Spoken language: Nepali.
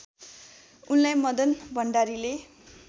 उनलाई मदन भण्डारीले